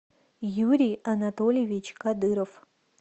юрий анатольевич кадыров